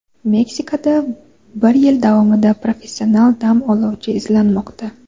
Meksikada bir yil davomida professional dam oluvchi izlanmoqda.